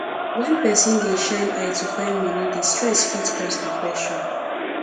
when person dey shine eye to find money di stress fit cause depression